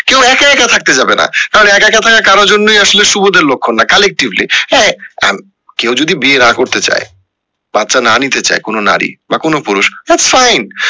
কেউ একা একা থাকেত যাবে না কারণ একা একা থাকা কারুর জন্যই আসলে সুবোধের লক্ষণ না collectively হ্যাঁ আহ কেউ যদি বিয়ে না করতে চায়, বাচ্চা না নিতে চায় কোনো নারী বা কোনো পুরুষ that's fine